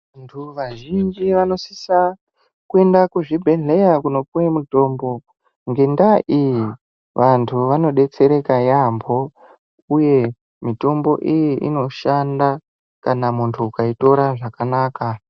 Vantu vazhinji vanosisa kuenda kuzvibhedhleya kunopuva mutombo. Ngendaa iyi vantu vanobetsereka yaambo, uye mitombo iyi inoshanda kana muntu ukaitora zvakanaka.